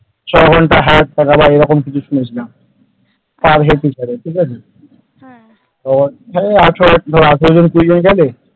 ছঘন্টা half অথবা এরকম কিছু শুনেছিলাম per head হিসাবে ঠিক আছে ওই ধর আঠেরো জন কুঁড়ি জন গেলে ।